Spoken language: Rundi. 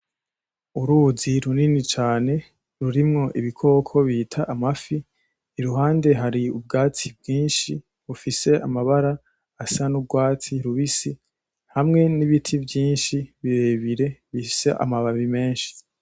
Uruzi runini cane rurimwo ibikoko bita amafi. Iruhande hari ubwatsi bwinshi. Bufise amabara asa n'urwatsi rubisi hamwe n'ibiti vyinshi birebire bifise amababi menshi.